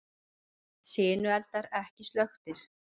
Sinueldar ekki slökktir